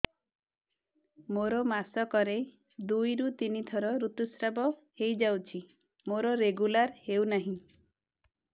ମୋର ମାସ କ ରେ ଦୁଇ ରୁ ତିନି ଥର ଋତୁଶ୍ରାବ ହେଇଯାଉଛି ମୋର ରେଗୁଲାର ହେଉନାହିଁ